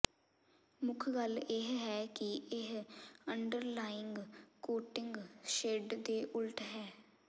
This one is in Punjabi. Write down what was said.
ਮੁੱਖ ਗੱਲ ਇਹ ਹੈ ਕਿ ਇਹ ਅੰਡਰਲਾਈੰਗ ਕੋਟਿੰਗ ਸ਼ੇਡ ਦੇ ਉਲਟ ਹੈ